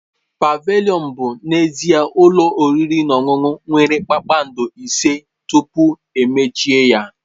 Pavilion bụ n'ezie ụlọ oriri na ọṅụṅụ nwere kpakpando ise tupu ya emechie.